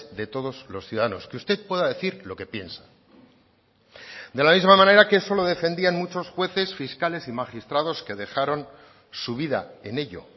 de todos los ciudadanos que usted pueda decir lo que piensa de la misma manera que eso lo defendían muchos jueces fiscales y magistrados que dejaron su vida en ello